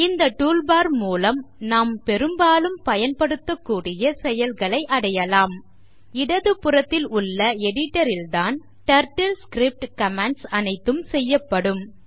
இந்த tool bar மூலம் நாம் பெரும்பாலும் பயன்படுத்தக்கூடிய செயல்களை அடையலாம் இடதுபுறத்தில் உள்ள Editor ல் தான் டர்ட்டில்ஸ்கிரிப்ட் கமாண்ட்ஸ் அனைத்தும் செய்யப்படும்